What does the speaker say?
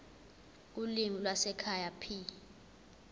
ulimi lwasekhaya p